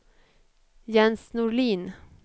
Jens Norlin